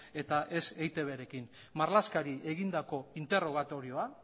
eta ez eitbrekin marlaskari egindako interrogatorioa